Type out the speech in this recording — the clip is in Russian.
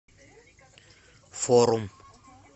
форум